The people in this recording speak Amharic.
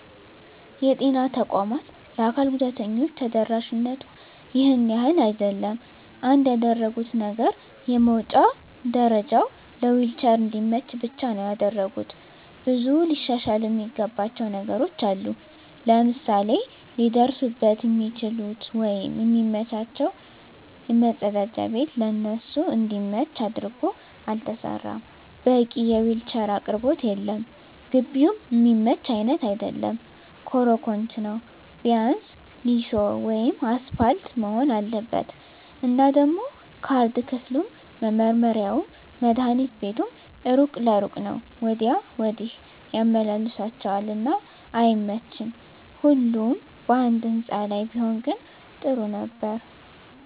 የጤና ተቋማት ለአካል ጉዳተኞች ተደራሽነቱ ይሄን ያህል አይደለም። አንድ ያደረጉት ነገር የመዉጫ ደረጀዉ ለዊልቸር እንዲመች ብቻ ነዉ ያደረጉት። ብዙ ሊሻሻሉ እሚገባቸዉ ነገሮች አሉ፤ ለምሳሌ ሊደርሱበት እሚችሉት ወይም እሚመቻቸዉ መፀዳጃ ቤት ለነሱ እንዲመች አድርጎ አልተሰራም፣ በቂ የዊልቸር አቅርቦት የለም፣ ግቢዉም እሚመች አይነት አይደለም ኮሮኮንች ነዉ ቢያንስ ሊሾ ወይም አሰፓልት መሆን አለበት። እና ደሞ ካርድ ክፍሉም፣ መመርመሪያዉም፣ መድሀኒት ቤቱም እሩቅ ለእሩቅ ነዉ ወዲያ ወዲህ ያመላልሷቸዋል እና አይመቺም ሁሉም ባንድ ህንፃ ላይ ቢሆን ግን ጥሩ ነበር።